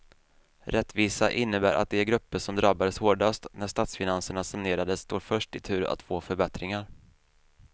Rättvisa innebär att de grupper som drabbades hårdast när statsfinanserna sanerades står först i tur att få förbättringar.